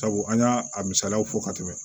Sabu an y'a a misaliyaw fɔ ka tɛmɛ